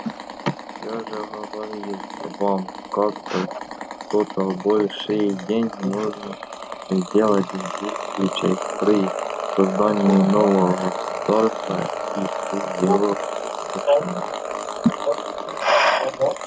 я уже говорил вам как-то что большие деньги можно сделать в двух случаях при созидании нового государства и при его крушении